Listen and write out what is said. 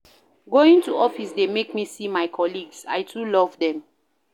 Going to office dey make me see my colleagues, I too love dem.